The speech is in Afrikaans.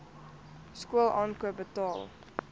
skool aankoop betaal